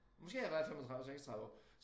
Måske har jeg været 35 36 år